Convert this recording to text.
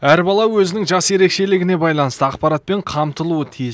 әр бала өзінің жас ерекшелігіне байланысты ақпаратпен қамтылуы тиіс